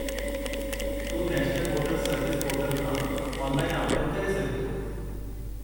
तूं national voters service portal खां online आवेदनु करे सघीं थो।